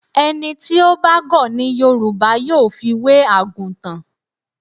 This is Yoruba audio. Ẹni tí ó bá gọ̀ ni Yorùbá yóò fi wé àgùtàn.